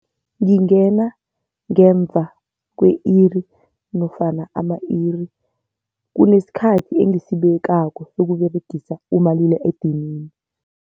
Ngingena ngemva kwe-iri nofana ama-iri, kunesikhathi engisibekako ukUberegisa umalila edinini.